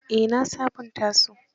Eh na sabunta su.